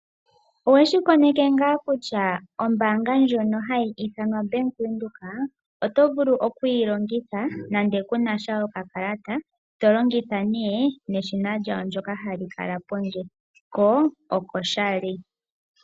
Oweshi koneke ngaa kutya ombaanga ndjono hayi ithanwa Bank Windhoek oto vulu oku yi longitha nande ku na sha okakalata, to longitha nee neshina lyawo ndyono ha li kala pondje, ko okoshali.